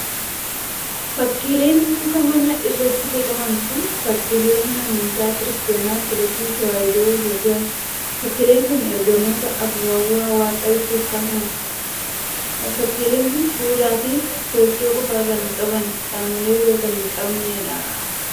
Fakkiileen muka manaa irratti bocaman kun, fakkiilee mana amntaa Kiristaana Ortodooksii Tawaahidoo Itoophiyaati. Fakkiileen kun, Ergamoota afuurawaa Waaqaa ibsuuf kaafaman. Fakkiileen kun, fuula fi kochoo qofa kan qabanii qaamolee biroo kan hin qabnee dha.